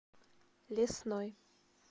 лесной